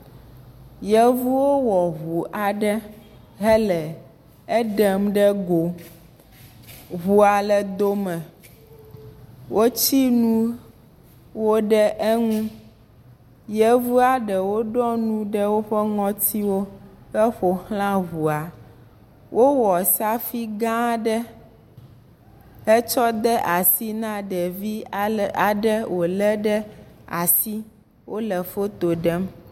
Yevuwo wɔ ŋu aɖe hele eɖem ɖe go. Ŋua le dome wotsi nuwo ɖe eŋu. Yevua ɖewo ɖo nu ɖe woƒe ŋɔtiwo heƒoxlã ŋua. Wowɔ saƒui gã aɖe hetsɔ de asi na ɖevi aɖe wolé ɖe asi.